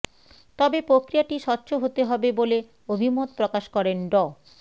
তবে প্রক্রিয়াটি স্বচ্ছ হতে হবে বলে অভিমত প্রকাশ করেন ড